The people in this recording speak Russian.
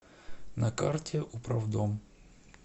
на карте управдом